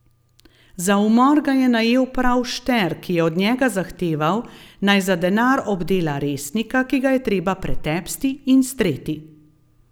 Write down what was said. Za umor ga je najel prav Šter, ki je od njega zahteval, naj za denar obdela Resnika, ki ga je treba pretepsti in streti.